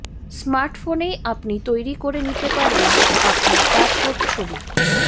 স্মার্টফোনেই আপনি তৈরি করে নিতে পারবেন আপনার পাসপোর্ট ছবি